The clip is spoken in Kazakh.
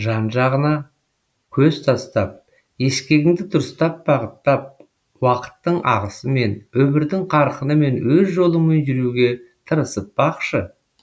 жан жағына көз тастап ескегіңді дұрыстап бағыттап уақыттың ағысымен өмірдің қарқынымен өз жолыңмен жүруге тырысып бақшы